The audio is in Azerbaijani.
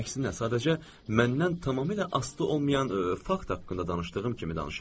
əksinə, sadəcə məndən tamamilə asılı olmayan fakt haqqında danışdığım kimi danışıram.